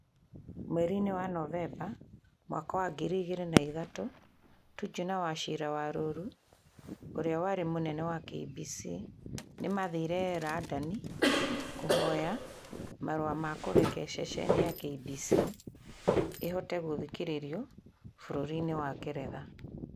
Mweri-inĩ wa Novemba mwaka wa ngirĩ igĩrĩ na itatũ, Tuju na Wachira Waruru, ũrĩa warĩ munene wa KBC, nĩ maathire Randani kũhoya marũa ma kũreka ceceni ya KBC ĩhote gũthikĩrĩrio bũrũri-inĩ wa Ngeretha.